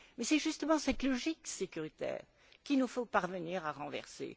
Et c'est justement cette logique sécuritaire qu'il nous faut parvenir à renverser.